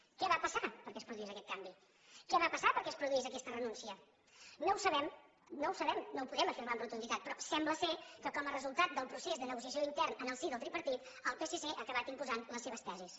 què va passar perquè es produís aquest canvi què va passar perquè es produís aquesta renúncia no ho sabem no ho sabem no ho podem afirmar amb rotunditat però sembla que com a resultat del procés de negociació intern en el si del tripartit el psc ha acabat imposant les seves tesis